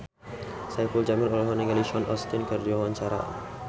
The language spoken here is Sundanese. Saipul Jamil olohok ningali Sean Astin keur diwawancara